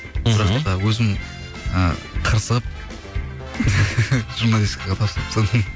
бірақ та өзім ы қырсығып журналистикаға тапсырып тастадым